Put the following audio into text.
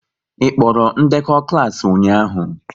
Ị kpọrọ ndekọ klas ụnyaahụ?